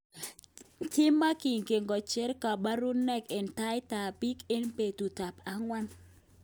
Kimanyinge kojer kaparunaik en tait ap pik en petut ap akwan